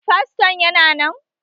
Faston yana nan?